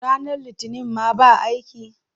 Ranar Litinin ma ba aiki?